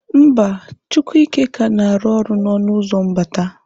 Mba, Chiwuike ka na-arụ ọrụ n'ọnụ ụzọ mbata.